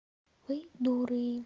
вы дуры